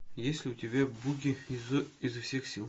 есть ли у тебя буги изо всех сил